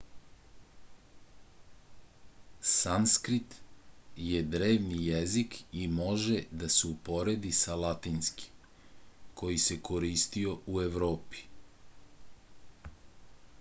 sanskrit je drevni jezik i može da se uporedi sa latinskim koji se koristio u evropi